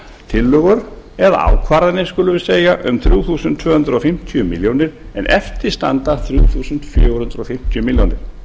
tillögur eða ákvarðanir skulum við segja um þrjú þúsund tvö hundruð fimmtíu milljónir en eftir standa fimm þúsund fjögur hundruð fimmtíu milljónir